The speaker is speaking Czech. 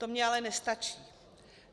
To mi ale nestačí.